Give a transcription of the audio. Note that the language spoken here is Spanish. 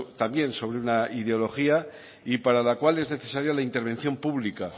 también sobre una ideología y para la cual es necesaria la intervención pública